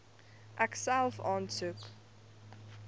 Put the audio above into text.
ek self aansoek